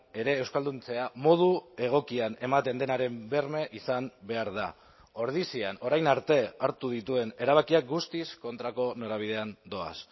ere euskalduntzea modu egokian ematen denaren berme izan behar da ordizian orain arte hartu dituen erabakiak guztiz kontrako norabidean doaz